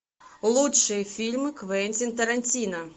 лучшие фильмы квентин тарантино